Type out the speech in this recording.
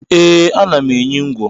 Ee, ana m enyi ngwo